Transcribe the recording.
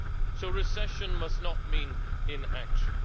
So recession must not mean inaction.